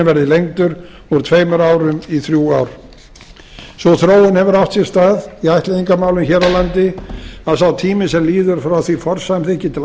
lengdur úr tveimur árum í þrjú ár sú þróun hefur átt sér stað í ættleiðingarmálum hér á landi að sá tími sem líður frá því að forsamþykki til